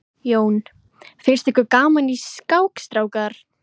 Jón: Finnst ykkur gaman í skák strákar?